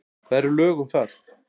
Hvar eru lög um það?